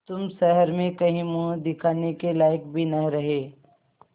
तुम शहर में कहीं मुँह दिखाने के लायक भी न रहे